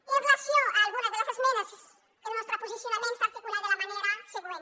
i amb relació a algunes de les esmenes el nostre posicionament s’articula de la manera següent